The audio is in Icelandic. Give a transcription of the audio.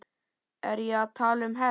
Er ég að tala um hefnd?